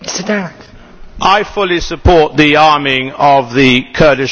I fully support the arming of the Kurdish Peshmerga